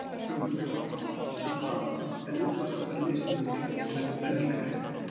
Grundvallarhugmyndin er þá alltaf sú sama en útfærslan er mismunandi á milli menningarheima.